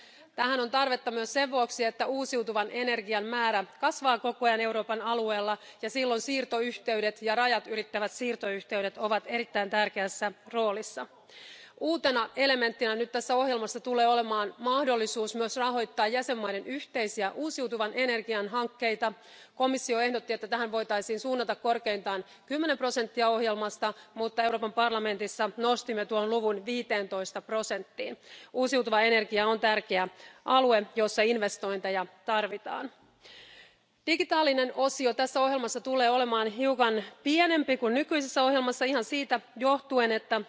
Tähän on tarvetta myös sen vuoksi, että uusiutuvan energian määrä kasvaa koko ajan Euroopan alueella ja siirtoyhteydet ja rajatylittävät siirtoyhteydet ovat erittäin tärkeässä roolissa. Uutena elementtinä tässä ohjelmassa tulee olemaan mahdollisuus myös rahoittaa jäsenvaltioiden yhteisiä uusiutuvan energiaan hankkeita. Komissio ehdotti, että tähän voitaisiin suunnata korkeintaan 10 prosenttia ohjelmasta, mutta Euroopan parlamentissa nostimme tuon osuuden 15 prosenttiin. Uusiutuva energia on tärkeä alue, jossa investointeja tarvitaan. Digitaalinen osio tässä ohjelmassa tulee olemaan hiukan pienempi kuin nykyisessä ohjelmassa ihan siitä johtuen,